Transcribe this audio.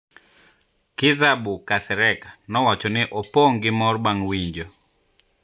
Kizerbo Kasereka nowacho ni ne opong` gi mor bang` winjo#